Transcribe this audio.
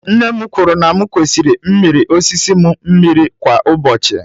Nne m kwuru na m kwesịrị mmiri osisi m mmiri kwa ụbọchị.